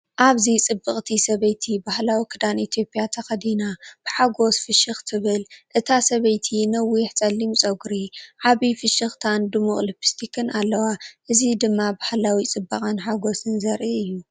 ኣብዚ ጽብቕቲ ሰበይቲ ባህላዊ ክዳን ኢትዮጵያ ተኸዲና፡ ብሓጎስ ፍሽኽ ትብል። እታ ሰበይቲ ነዊሕ ጸሊም ጸጉሪ፡ ዓቢ ፍሽኽታን ድሙቕ ልፕስቲክን ኣለዋ። እዚ ድማ ባህላዊ ጽባቐን ሓጎስን ዘርኢ እዩ።